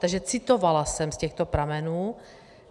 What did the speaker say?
Takže citovala jsem z těchto pramenů.